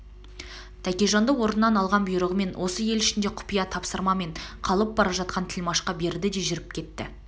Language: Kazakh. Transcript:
тәкежанды орнынан алған бұйрығын осы ел ішінде құпия тапсырмамен қалып бара жатқан тілмашқа берді де жүріп кетті